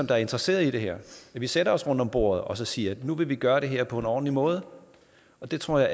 der er interesserede i det her sætter os rundt om bordet og siger at nu vil vi gøre det her på en ordentlig måde og det tror jeg